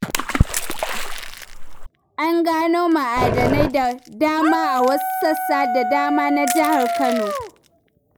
An gano ma'adanai da dama a wasu sassa da dama na Jihar Kano.